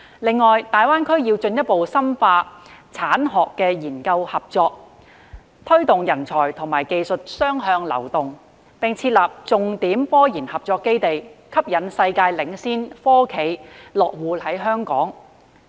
此外，大灣區要進一步深化產學研合作，推動人才和技術雙向流動，並設立重點科研合作基地，吸引世界領先科企落戶香港。